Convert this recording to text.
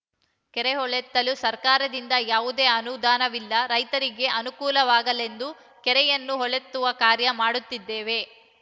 ಕೆರೆ ಹೂಳೆತ್ತಲು ಸರಕಾರದಿಂದ ಯಾವುದೇ ಅನುದಾನವಿಲ್ಲ ರೈತರಿಗೆ ಅನುಕೂಲವಾಗಲೆಂದು ಕೆರೆಯನ್ನು ಹೂಳೆತ್ತುವ ಕಾರ್ಯ ಮಾಡುತ್ತಿದ್ದೇವೆ